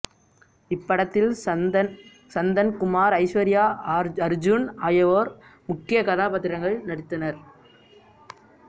இப்படத்தில் சந்தன் குமார் ஐஸ்வரியா அர்ஜூன் ஆகியோர் முக்கிய கதாபாத்திரங்களில் நடித்தனர்